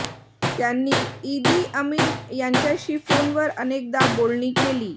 त्यांनी Idi Amin यांच्याशी फोनवर अनेकदा बोलणी केली